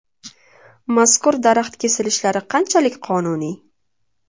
Mazkur daraxt kesilishlari qanchalik qonuniy?